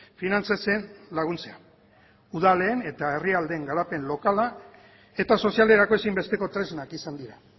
finantzatzen laguntzea udalen eta herrialdeen garapen lokala eta sozialerako ezinbesteko tresnak izan dira